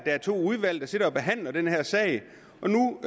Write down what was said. er to udvalg der sidder og behandler den her sag